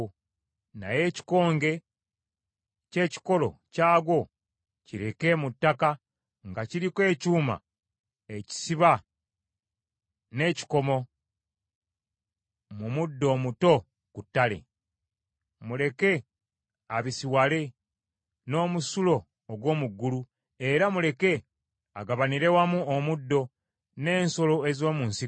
Naye ekikonge ky’ekikolo kyagwo kireke mu ttaka, nga kiriko ekyuma ekisiba n’ekikomo, mu muddo omuto ku ttale. “ ‘Muleke abisiwale n’omusulo ogw’omu ggulu, era muleke agabanire wamu omuddo, n’ensolo ez’omu nsiko.